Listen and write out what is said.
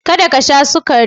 Kada ka sha sukari!